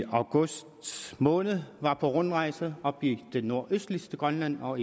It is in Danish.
august måned var på rundrejse oppe i det nordøstligste grønland og